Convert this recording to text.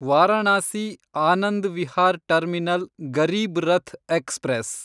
Varanasi Anand Vihar terminal Garib Rath express